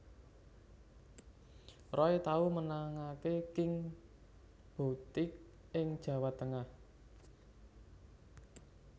Roy tau menangaké King Boutique ing Jawa Tengah